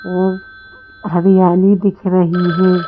और हरियाली दिख रही है।